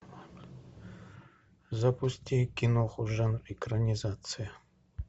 запусти киноху жанр экранизация